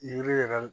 Yiri yɛrɛ